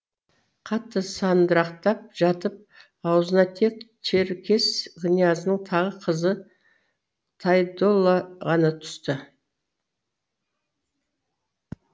қатты сандырақтап жатып аузына тек черкес князінің тағы қызы тайдолла ғана түсті